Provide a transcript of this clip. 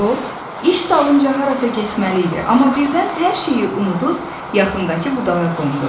O iş dalınca harasa getməli idi, amma birdən hər şeyi unudub yaxındakı budağa qondu.